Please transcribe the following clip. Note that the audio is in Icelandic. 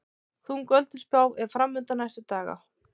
Þung ölduspá er framundan næstu daga